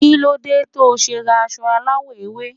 Kílódé to se ra aso aláwo ewe?